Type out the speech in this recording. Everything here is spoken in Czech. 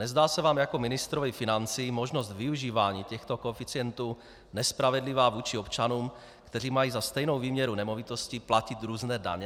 Nezdá se vám jako ministrovi financí možnost využívání těchto koeficientů nespravedlivá vůči občanům, kteří mají za stejnou výměru nemovitosti platit různé daně?